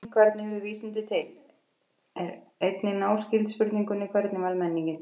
Spurningin hvernig urðu vísindi til er einnig náskyld spurningunni hvernig varð menningin til?